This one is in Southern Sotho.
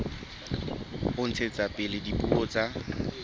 ho ntshetsa pele dipuo tsa